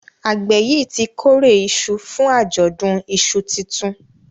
àgbè yí tí kore iṣu fún Ajọdun iṣu títún